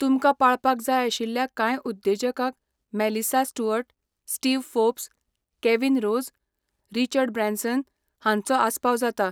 तुमकां पाळपाक जाय आशिल्ल्या कांय उद्देजकांक Melissa Stuart, Steve Forbes, Kevin Rose, Richard Branson हांचो आस्पाव जाता.